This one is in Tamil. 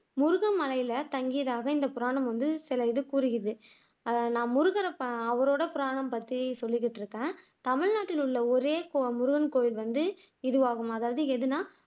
முருகன்மலைல தங்கியதாக இந்த புராணம் வந்து சில இது கூறுகிறது அதை முருகரை அவரோட புராணம் பற்றி சொல்லிக்கிட்டு இருக்கேன் தமிழ்நாட்டுல உள்ள ஒரே முருகன் கோவில் வந்து இதுவாகும் அதாவது எதுன்னா